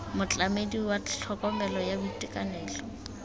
motlamedi wa tlhokomelo ya boitekanelo